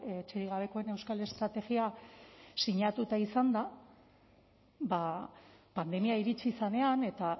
etxerik gabekoen euskal estrategia sinatuta izanda ba pandemia iritsi zenean eta